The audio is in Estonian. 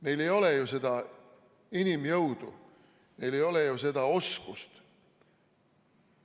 Neil ei ole ju seda inimjõudu, neil ei ole ju seda oskust.